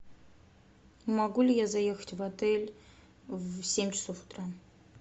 могу ли я заехать в отель в семь часов утра